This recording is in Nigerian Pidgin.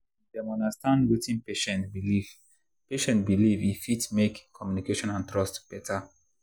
if dem understand wetin patient believe patient believe e fit make communication and trust better.